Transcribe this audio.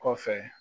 Kɔfɛ